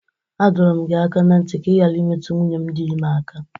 A dọrọ m gi aka na nti ka ị ghara imetụ nwunye m dị ime aka!